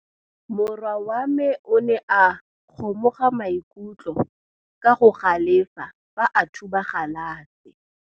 Morwa wa me o ne a kgomoga maikutlo ka go galefa fa a thuba galase.